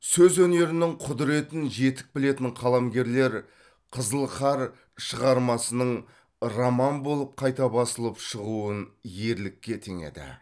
сөз өнерінің құдыретін жетік білетін қаламгерлер қызыл қар шығармасының роман болып қайта басылып шығуын ерлікке теңеді